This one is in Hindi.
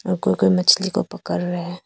कोई कोई मछली को पकड़ रहे हैं।